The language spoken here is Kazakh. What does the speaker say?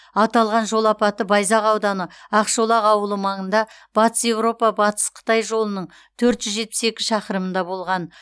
аталған жол апаты байзақ ауданы ақшолақ ауылы маңында батыс еуропа батыс қытай жолының төрт жүз жетпіс екі шақырымында болған